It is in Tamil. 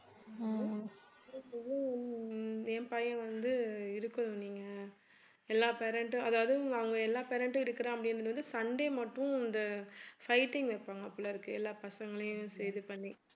என் பையன் வந்து இருக்கணும் நீங்க எல்லா parent உம் அதாவது அங்க எல்லா parent உம் இருக்கறேன் அப்படி வந்து sunday மட்டும் இந்த fighting வைப்பாங்க போலிருக்கு எல்லா பசங்களையும் இது பண்ணி